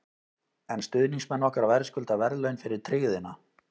En stuðningsmenn okkar verðskulda verðlaun fyrir tryggðina.